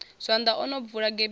zwanḓa o no bvula gebisi